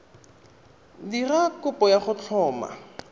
dira kopo ya go tlhoma